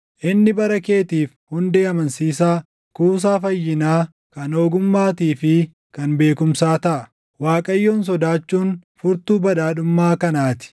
Inni bara keetiif hundee amansiisaa, kuusaa fayyinaa, kan ogummaatii fi kan beekumsaa taʼa; Waaqayyoon sodaachuun furtuu badhaadhummaa kanaa ti.